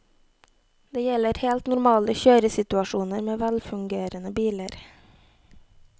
Det gjelder helt normale kjøresituasjoner, med velfungerende biler.